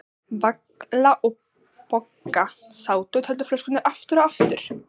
Vala og Bogga sátu og töldu flöskurnar aftur og aftur.